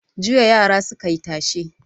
Jiya yara suka yi tashe.